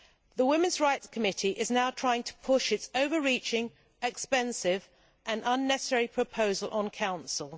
The Women's Rights Committee is now trying to push its overreaching, expensive and unnecessary proposal onto the Council.